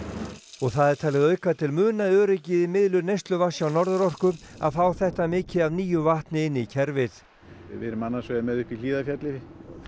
og það er talið auka til muna öryggið í miðlun neysluvatns hjá Norðurorku að fá þetta mikið af nýju vatni inn í kerfið við erum annars vegar með uppi í Hlíðarfjalli fyrir